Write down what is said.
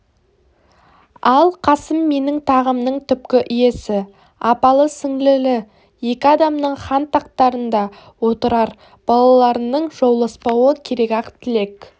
ал қасым менің тағымның түпкі иесі апалы-сіңлілі екі адамның хан тақтарында отырар балаларының жауласпауы керек-ақ тілек